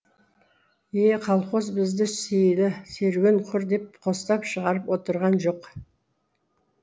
е колхоз бізді сейілі серуен құр деп қостап шығарып отырған жоқ